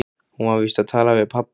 Hún var víst að tala við pabba.